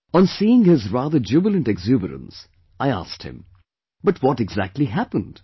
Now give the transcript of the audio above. On seeing his rather jubilant exuberance, I asked him, "But what exactly happened